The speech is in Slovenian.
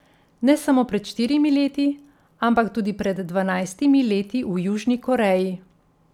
Ne samo pred štirimi leti, ampak tudi pred dvanajstimi leti v Južni Koreji.